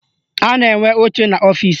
A na-enwe oche n'ọfịsi